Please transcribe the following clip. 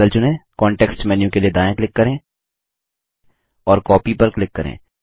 बादल चुनें context menu के लिए दायाँ क्लिक करें और कॉपी पर क्लिक करें